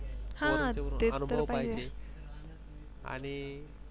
हा ते तर आहेच अनुभव पाहिजे आणि